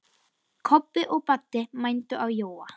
Kobbi og Baddi mændu á Jóa.